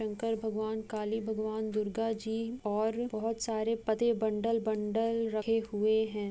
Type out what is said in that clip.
शंकर भगवान काली भगवान दुर्गा जी और बहुत सारे पते बंडल बंडल रखे हुए हैं।